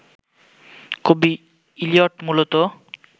কবি ইলিয়ট মূলত